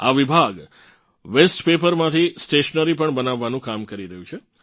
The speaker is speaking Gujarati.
આ વિભાગ વેસ્ટ પેપરમાંથી સ્ટેશનરી પણ બનાવવાનું કામ કરી રહ્યું છે